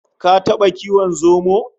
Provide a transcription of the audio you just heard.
Ka taba kiwon zomo?